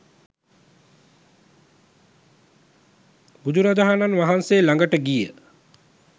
බුදුරජාණන් වහන්සේ ළඟට ගිය